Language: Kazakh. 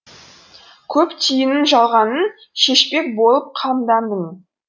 көп түйінін жалғанның шешпек болып қамдандың